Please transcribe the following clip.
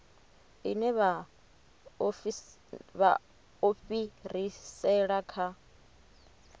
ine vha o fhirisela kha